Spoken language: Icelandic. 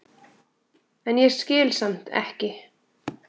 en ég skil samt ekki.